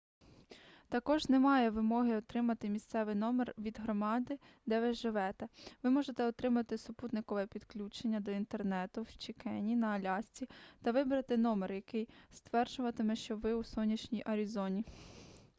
також немає вимоги отримати місцевий номер від громади де ви живете ви можете отримати супутникове підключення до інтернету в чикені на алясці та вибрати номер який стверджуватиме що ви у сонячній арізоні